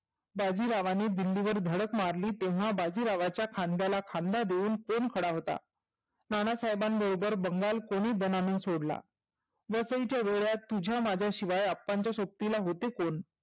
बाजीरावाने दिल्लीवर धडक मारली तेव्हा बाजीरावाच्या खांद्याला खांदा देऊन कोण खडा होता? नानासाहेबां बरोबर बंगाल कोणी दणानून सोडला? वसईच्या भोवर्यात तुझ्या माझ्याशिवाय अप्पांच्या सोबतीला होते कोण?